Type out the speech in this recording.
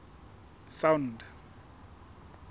sound